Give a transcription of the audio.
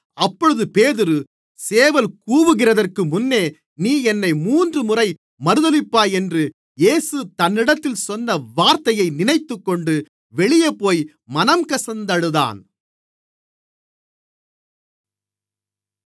அப்பொழுது பேதுரு சேவல் கூவுகிறதற்கு முன்னே நீ என்னை மூன்றுமுறை மறுதலிப்பாய் என்று இயேசு தன்னிடத்தில் சொன்ன வார்த்தையை நினைத்துக்கொண்டு வெளியேபோய் மனங்கசந்து அழுதான்